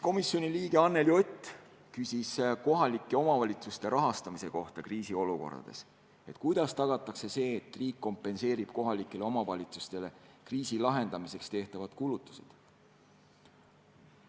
Komisjoni liige Anneli Ott küsis kohalike omavalitsuste rahastamise kohta kriisiolukordades: kuidas tagatakse, et riik kompenseerib kohalikele omavalitsustele kriisi lahendamiseks tehtavad kulutused?